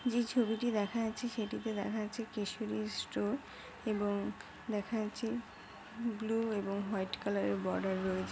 যে ছবিটি দেখা যাচ্ছে সেটিতে দেখা যাচ্ছে কেশরীর স্টোর এবং দেখা যাচ্ছে ব্লু এবং হোয়াইট কালারের বর্ডার রয়েছে।